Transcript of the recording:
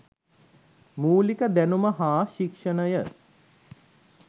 මූලික දැනුම හා ශික්‍ෂණය